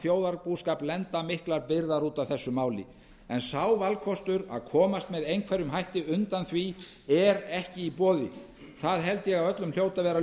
þjóðarbúskap lenda miklar byrðar út af þessu máli en sá valkostur að komast með einhverjum hætti undan því er ekki í boði það held ég að öllum hljóti að vera